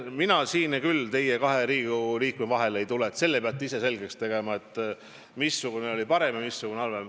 Mina siin kahe Riigikogu liikme vahele ei tule, selle peate ise selgeks tegema, missugune valitsus oli parem ja missugune halvem.